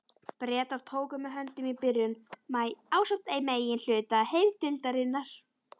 Bretar tóku mig höndum í byrjun maí ásamt meginhluta herdeildarinnar.